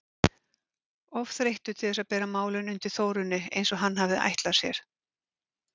Of þreyttur til þess að bera málin undir Þórunni eins og hann hafði ætlað sér.